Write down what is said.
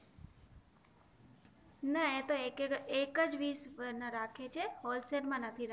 ના એ તો એક એક એક જ પીશ રાખે છે હોલ સે લ માં નથી